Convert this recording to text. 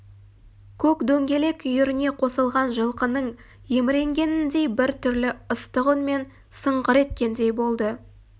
көк дөңгелек үйіріне қосылған жылқының еміренгеніндей бір түрлі ыстық үнмен сыңғыр еткендей болды